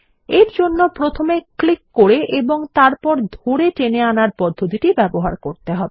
এরজন্য প্রথমে ক্লিক করে এবং তারপর ধরে টেনে আনার পদ্ধতিটি ব্যবহার করতে হবে